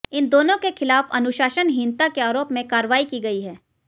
इन दोनों के खिलाफ अनुशासनहीनता के आरोप में कार्रवाई की गई है